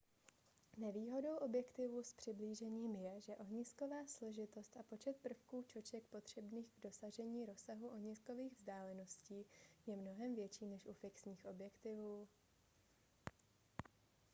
nevýhodou objektivů s přiblížením je že ohnisková složitost a počet prvků čoček potřebných k dosažení rozsahu ohniskových vzdáleností je mnohem větší než u fixních objektivů